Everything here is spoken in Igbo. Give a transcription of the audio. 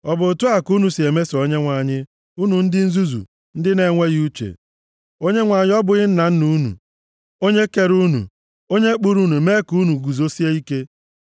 Ọ bụ otu a ka unu si emeso Onyenwe anyị unu ndị nzuzu, ndị na-enweghị uche? Onyenwe anyị ọ bụghị nna unu, onye kere unu, onye kpụrụ unu mee ka unu guzosie ike?